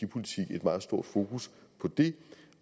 et meget stort fokus på det